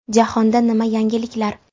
Jahonda nima yangiliklar?